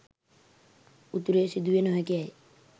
උතුරේ සිදුවිය නොහැකි ඇයි?